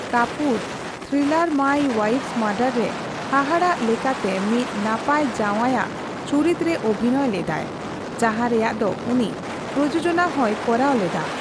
Kapoor thriller my wife's murder ᱨᱮ ᱦᱟᱦᱟᱲᱟᱜ ᱞᱮᱠᱟᱛᱮ ᱢᱤᱫ ᱱᱟᱯᱟᱭ ᱡᱟᱣᱟᱭ ᱟᱜ ᱪᱩᱨᱤᱛ ᱨᱮ ᱚᱵᱷᱤᱱᱚᱭ ᱞᱮᱫᱟᱭ, ᱡᱟᱦᱟᱸ ᱨᱮᱭᱟᱜ ᱫᱚ ᱩᱱᱤ ᱯᱨᱚᱡᱳᱡᱚᱱᱟ ᱦᱚᱸᱭ ᱠᱚᱨᱟᱣ ᱞᱮᱫᱟ ᱾